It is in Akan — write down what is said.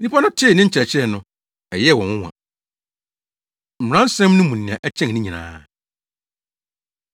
Nnipadɔm no tee ne nkyerɛkyerɛ no, ɛyɛɛ wɔn nwonwa. Mmaransɛm No Mu Nea Ɛkyɛn Ne Nyinaa